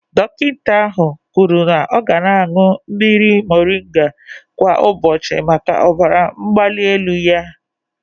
Dọkịta ahụ kwuru na ọ ga na-aṅụ mmiri moringa kwa ụbọchị maka ọbara mgbali elu ya.